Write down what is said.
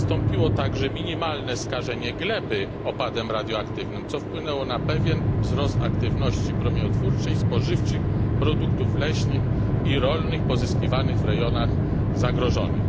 Nastąpiło także minimalne skażenie gleby opadem radioaktywnym, co wpłynęło na pewien wzrost aktywności promieniotwórczej spożywczych produktów leśnych i rolnych pozyskiwanych w rejonach zagrożonych.